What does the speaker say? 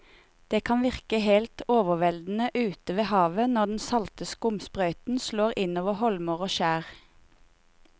Det kan virke helt overveldende ute ved havet når den salte skumsprøyten slår innover holmer og skjær.